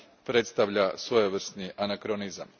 predstavlja svojevrsni anakronizam.